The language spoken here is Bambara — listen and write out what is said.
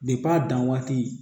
a dan waati